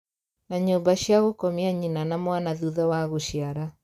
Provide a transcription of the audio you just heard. Na nyũmba cia gũkomia nyina na mwana thutha wa gũciara